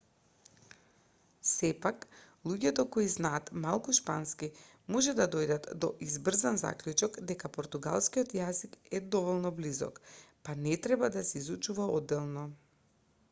сепак луѓето кои знаат малку шпански може да дојдат до избрзан заклучок дека португалскиот јазик е доволно близок па не треба да се изучува одделно